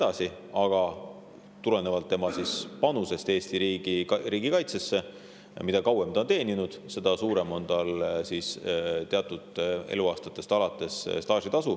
See oleneks panusest Eesti riigikaitsesse: mida kauem inimene on teeninud, seda suurem on tal teatud alates staažitasu.